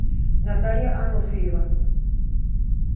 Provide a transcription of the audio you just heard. наталья ануфриева